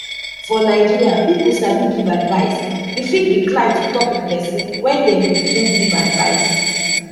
for nigeria people sabi give advice you fit decline to talk with person when dem begin give advise